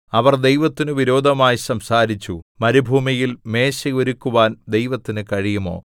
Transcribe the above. അവർ ദൈവത്തിനു വിരോധമായി സംസാരിച്ചു മരുഭൂമിയിൽ മേശ ഒരുക്കുവാൻ ദൈവത്തിനു കഴിയുമോ